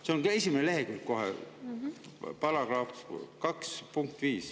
See on kohe esimesel leheküljel, § 2 punkt 5.